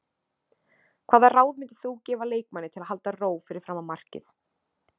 Hvaða ráð myndir þú gefa leikmanni til að halda ró fyrir framan markið?